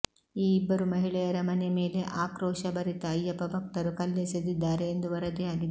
ಈ ಇಬ್ಬರು ಮಹಿಳೆಯರ ಮನೆ ಮೇಲೆ ಆಕ್ರೋಶಭರಿತ ಅಯ್ಯಪ್ಪ ಭಕ್ತರು ಕಲ್ಲೆಸೆದಿದ್ದಾರೆ ಎಂದು ವರದಿಯಾಗಿದೆ